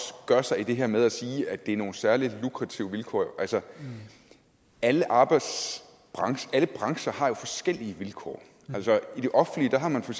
gør sig i det her med at sige at det er nogle særlig lukrative vilkår altså alle brancher alle brancher har jo forskellige vilkår i det offentlige har man for